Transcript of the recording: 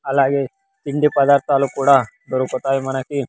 అలాగే తిండి పదార్థాలు కూడా దొరుకుతాయి మనకి.